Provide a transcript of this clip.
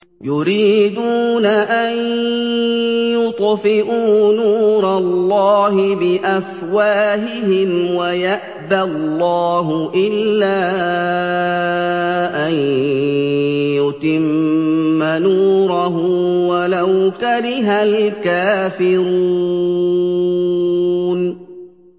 يُرِيدُونَ أَن يُطْفِئُوا نُورَ اللَّهِ بِأَفْوَاهِهِمْ وَيَأْبَى اللَّهُ إِلَّا أَن يُتِمَّ نُورَهُ وَلَوْ كَرِهَ الْكَافِرُونَ